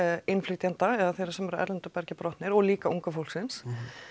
innflytjenda eða þeirra sem eru af erlendu bergi brotnir og líka unga fólksins